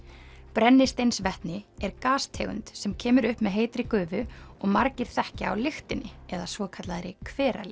brennisteinsvetni er gastegund sem kemur upp með heitri gufu og margir þekkja á lyktinni eða svokallaðri